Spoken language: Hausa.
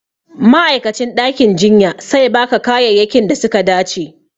Ma'aikacin ɗakin jinya sai ba ka kayayyakin da suka dace